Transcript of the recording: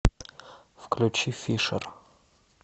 включи фишер